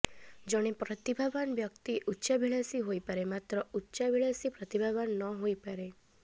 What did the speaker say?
ଜଣେ ପ୍ରତିଭାବାନ୍ ବ୍ୟକ୍ତି ଉଚ୍ଚାଭିଳାଷୀ ହୋଇପାରେ ମାତ୍ର ଉଚ୍ଚାଭିଳାଷୀ ପ୍ରତିଭାବାନ୍ ନ ହୋଇପାରେ